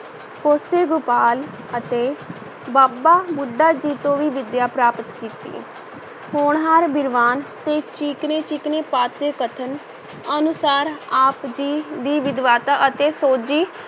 ਕੇਸੋ ਗੋਪਾਲ ਅਤੇ ਬਾਬਾ ਬੁੱਢਾ ਜੀ ਤੋਂ ਵੀ ਵਿੱਦਿਆ ਪ੍ਰਾਪਤ ਕੀਤੀ, ਹੋਣਹਾਰ ਵਿਦਵਾਨ ਤੇ ਚਿਕਨੇ-ਚਿਕਨੇ ਪਾਤ ਦੇ ਕਥਨ ਅਨੁਸਾਰ ਆਪ ਜੀ ਦੀ ਵਿਦਵਤਾ ਅਤੇ ਸੋਝੀ